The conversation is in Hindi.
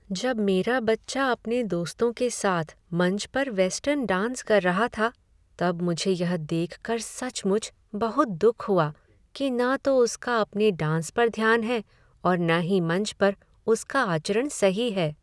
जब मेरा बच्चा अपने दोस्तों के साथ मंच पर वेस्टर्न डांस कर रहा था तब मुझे यह देख कर सचमुच बहुत दुख हुआ कि न तो उसका अपने डांस पर ध्यान है और न ही मंच पर उसका आचरण सही है।